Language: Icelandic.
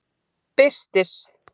Birtir